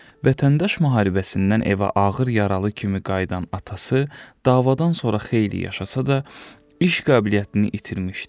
Vətəndaş müharibəsindən evə ağır yaralı kimi qayıdan atası davadan sonra xeyli yaşasa da, iş qabiliyyətini itirmişdi.